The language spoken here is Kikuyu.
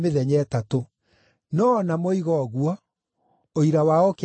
No o na moiga ũguo, ũira wao ũkĩaga kũiguana.